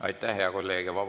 Aitäh, hea kolleeg!